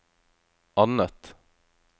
annet